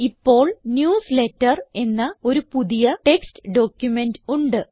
ഇപ്പോൾ ന്യൂസ്ലേറ്റർ എന്ന ഒരു പുതിയ ടെക്സ്റ്റ് ഡോക്യുമെന്റ് ഉണ്ട്